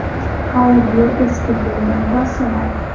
Audio eski bo‘lgan – vassalom.